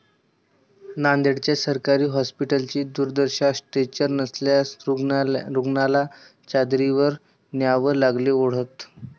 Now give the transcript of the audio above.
नांदेड्च्या सरकारी हॉस्पिटलची दुर्दशा, स्ट्रेचर नसल्यानं रूग्णाला चादरीवर न्यावं लागलं ओढत